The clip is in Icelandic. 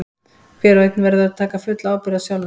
Hver og einn verður að taka fulla ábyrgð á sjálfum sér.